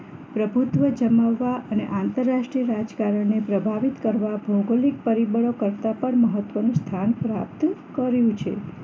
પ્રભુત્વ જમાવવા અને આંતરરાષ્ટ્રીય રાજકારણને પ્રભાવિત કરવા ભૌગોલિક પરિબળો કરતાં પણ મહત્વનું સ્થાન પ્રાપ્ત કર્યું છે